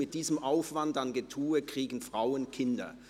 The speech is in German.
mit diesem Aufwand an Getue kriegen Frauen Kinder.